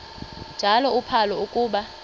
njalo uphalo akuba